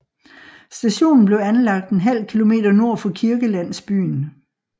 Stationen blev anlagt ½ km nord for kirkelandsbyen